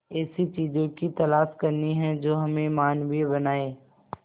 ऐसी चीजों की तलाश करनी है जो हमें मानवीय बनाएं